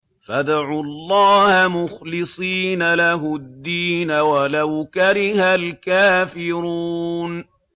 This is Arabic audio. فَادْعُوا اللَّهَ مُخْلِصِينَ لَهُ الدِّينَ وَلَوْ كَرِهَ الْكَافِرُونَ